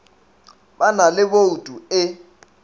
ba na le bouto e